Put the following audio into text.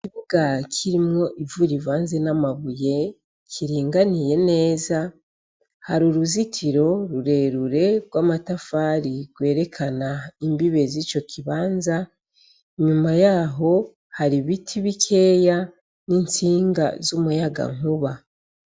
Ikibuga kirimwo ivu rivanze n'amabuye, kiringaniye neza, hari uruzitiro rurerure rw'amatafari rwerekana imbibe z'ico kibanza, inyuma y'aho hari ibiti bikeya n'intsinga z'umuyagankuba.